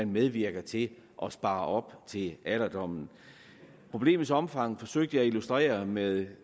medvirker til at spare op til alderdommen problemets omfang forsøgte jeg at illustrere med et